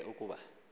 ke ukuba umatu